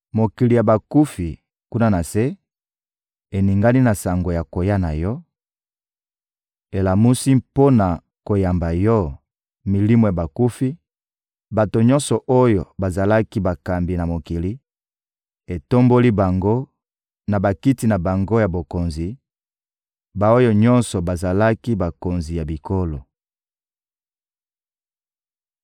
Mokili ya bakufi, kuna na se, eningani na sango ya koya na yo, elamusi, mpo na koyamba yo, milimo ya bakufi, bato nyonso oyo bazalaki bakambi na mokili, etomboli bango, na bakiti na bango ya bokonzi, ba-oyo nyonso bazalaki bakonzi ya bikolo.